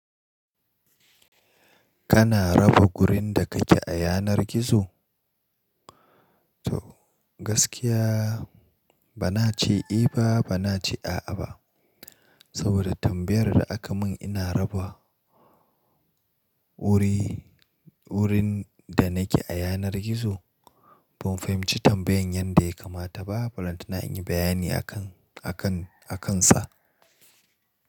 Kana raba wurin da kake a yanar gizo? To gaskiya bana ce eh ba bana ce a'a ba. Saboda tambayar da aka mun "ina raba wuri, wurin da nake a yanar gizo?" Ban fahimci tambayar yanda ya kamata ba. Balanta inyi bayani akan, akan, akansa.